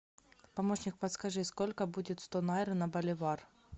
помощник подскажи сколько будет сто найр на боливар